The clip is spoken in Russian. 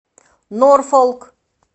норфолк